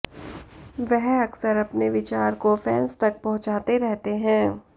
वह अक्सर अपने विचार को फैंस तक पहुंचाते रहते हैं